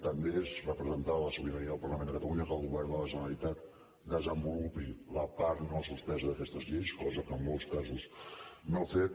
també és representar la sobirania del parlament de catalunya que el govern de la generalitat desenvolupi la part no suspensa d’aquestes lleis cosa que en molts casos no ha fet